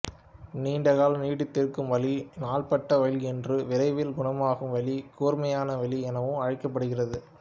நீண்ட காலம் நீடித்திருக்கும் வலி நாள்பட்ட வலி என்றும் விரைவில் குணமாகும் வலி கூர்மையான வலி எனவும் அழைக்கப்படுகிறது